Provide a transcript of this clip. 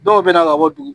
Dɔw bɛ na ka bɔ dugu